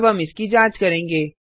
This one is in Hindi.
अब हम इसकी जाँच करेंगे